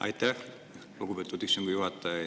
Aitäh, lugupeetud istungi juhataja!